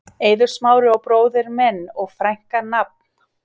Eiður Smári og bróðir minn og frænka Nafn?